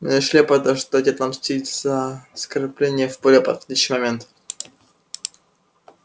мы решили подождать и отомстить за оскорбление в более подходящий момент